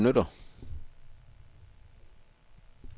benytter